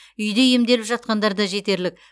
үйде емделіп жатқандар да жетерлік